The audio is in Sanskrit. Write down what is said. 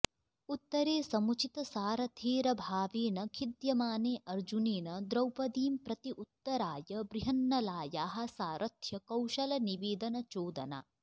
उत्तरे समुचितसारथेरभावेन खिद्यमाने अर्जुनेन द्रौपदींप्रति उत्तराय बृहन्नलायाः सारथ्यकौशलनिवेदनचोदना